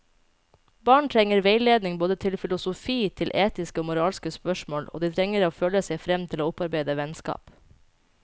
Barn trenger veiledning både til filosofi, til etiske og moralske spørsmål, og de trenger å føle seg frem til å opparbeide vennskap.